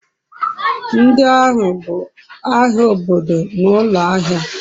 ndi ahu bu ahia obodo na ulo ahia